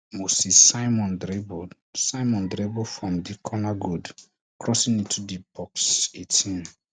moses simon dribble simon dribble from di corner good crossing into di box eighteen